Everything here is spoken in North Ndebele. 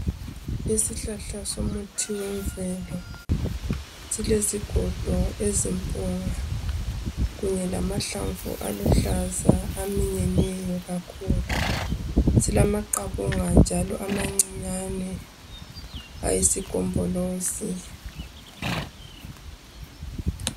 Isihlahla somuthi wemvelo silezigodo ezimpunga kunye lamahlamvu aluhlaza aminyeneyo kakhulu silamaqabunga njalo amancane ayisigombolozi.